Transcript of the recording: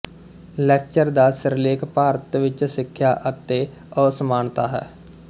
lecture ਦਾ ਸਿਰਲੇਖ ਭਾਰਤ ਵਿੱਚ ਸਿੱਖਿਆ ਅਤੇ ਅਸਮਾਨਤਾ ਹੈ